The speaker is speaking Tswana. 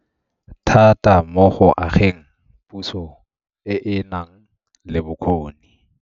Thata mo go ageng puso e e nang le bokgoni.